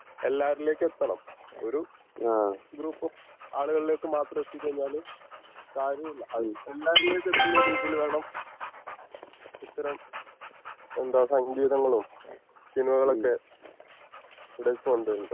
എല്ലാവരിലേക്കും എത്തണം ഒരു ഗ്രൂപ് ഓഫ് ആളുകളിലേക്ക് മാത്രം എത്തിച്ച് കഴിഞ്ഞാല് കാര്യം ഇല്ല അത് എല്ലാവരിലേക്കും എത്തുന്ന രീതിയിൽ വേണം ഇത്തരം എന്താ സങ്കീതങ്ങളും സിനിമകളും ഒക്കെ